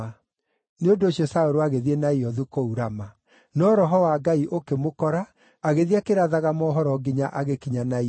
Nĩ ũndũ ũcio Saũlũ agĩthiĩ Naiothu, kũu Rama. No Roho wa Ngai ũkĩmũkora, agĩthiĩ akĩrathaga mohoro nginya agĩkinya Naiothu.